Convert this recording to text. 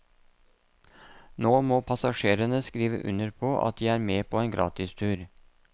Nå må passasjerene skrive under på at de er med på en gratistur.